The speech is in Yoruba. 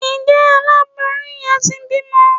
njẹ àláboyún yen tí bimò